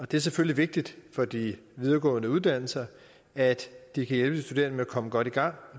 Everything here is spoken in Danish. det er selvfølgelig vigtigt for de videregående uddannelser at de kan hjælpe de studerende med at komme godt i gang